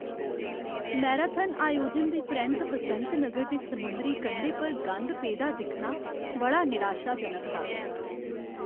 Marathon आयोजन दे परैंत्त बसंत नगर दे समुंदरी कंढे पर गंद पेदा दिक्खना बड़ा निराशाजनक हा।